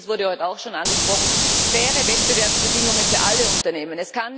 Und drittens, das wurde heute auch schon angesprochen faire Wettbewerbsbedingungen für alle Unternehmen.